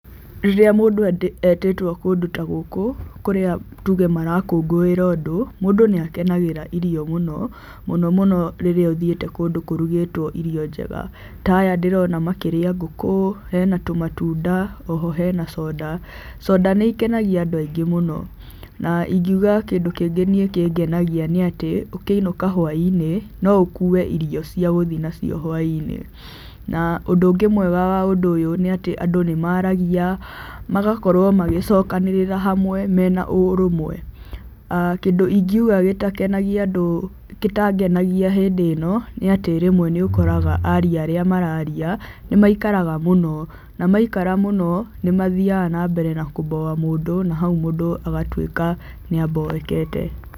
Rĩrĩa mũndũ etĩtwo kũndũ ta gũkũ, kũrĩa tuge marakũngũĩra ũndũ, mũndũ nĩ akenagĩrĩra irio mũno, mũno mũno rĩrĩa ũthiĩte kũndũ kũrugĩtwo irio njega. Ta aya ndĩrona makĩria ngũkũ, hena tũmatunda oho hena coda. Coda nĩ ikenagia andũ aingĩ mũno. Na ingiuga kĩndũ kĩngĩ niĩ kĩngenagia nĩ atĩ, ũkĩinũka hwainĩ, no ũkuue irio cia gũthi na cio hwainĩ. Na ũndũ ũngĩ mwega wa ũndũ ũyũ nĩ atĩ andũ nĩ maragia, magakorwo magĩcokanĩrĩra hamwe mena ũrũmwe. Aah kĩndũ ingiuga gĩtakenagia andũ gĩtangenagia hĩndĩ ĩno, nĩ atĩ rĩmwe nĩ ũkoraga aaria arĩa mararia, nĩ maikaraga mũno na maikara mũno, nĩ mathiaga na mbere na kũboa mũndũ na hau mũndũ agatuĩka nĩ aboekete.